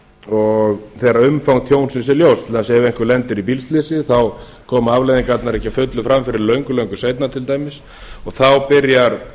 tjónsdegi þegar umfang tjónsins er ljóst til dæmis ef einhver lendir í bílslysi þá koma afleiðingarnar ekki að fullu fram fyrr en löngu löngu seinna til dæmis þá byrjar